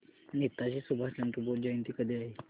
नेताजी सुभाषचंद्र बोस जयंती कधी आहे